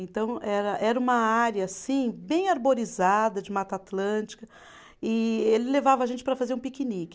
Então era era uma área assim, bem arborizada, de Mata Atlântica, e ele levava a gente para fazer um piquenique.